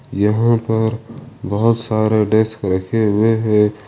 यहां पर बहोत सारे डेस्क रखे हुए हैं।